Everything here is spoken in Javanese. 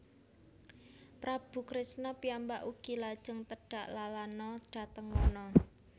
Prabu Kresna piyambak ugi lajeng tedhak lalana dhateng wana